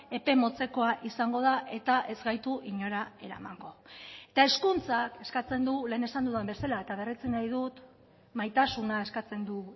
epe motzekoa izango da eta ez gaitu inora eramango eta hezkuntzak eskatzen du lehen esan dudan bezala eta berretsi nahi dut maitasuna eskatzen du